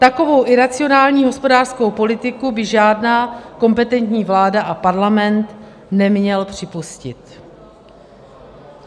Takovou iracionální hospodářskou politiku by žádná kompetentní vláda a parlament neměly připustit.